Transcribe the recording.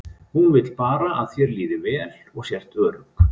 Hún vill bara að þér líði vel og sért örugg.